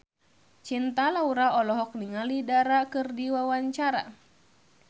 Cinta Laura olohok ningali Dara keur diwawancara